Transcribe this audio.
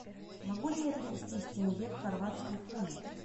могу ли я перевести с тенге в хорватские куны